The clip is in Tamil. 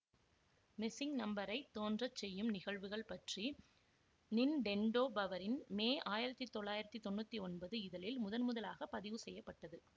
மிசிங்னம்பரைத் தோன்றச் செய்யும் நிகழ்வுகள் பற்றி நின்டெண்டோ பவரின் மே ஆயிரத்தி தொள்ளாயிரத்தி தொன்னூத்தி ஒன்பது இதழில் முதன்முதலாகப் பதிவு செய்ய பட்டது